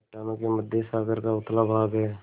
चट्टानों के मध्य सागर का उथला भाग है